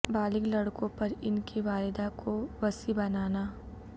بالغ لڑکوں پر ان کی والدہ کو وصی بنانا